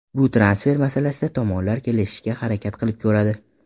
Bu transfer masalasida tomonlar kelishishga harakat qilib ko‘radi.